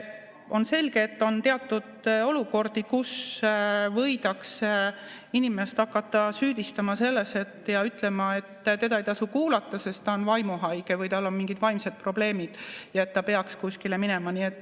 On selge, et on teatud olukordi, kus võidakse inimest hakata süüdistama ja ütlema, et teda ei tasu kuulata, sest ta on vaimuhaige või tal on mingid vaimsed probleemid ja ta peaks kuskile minema.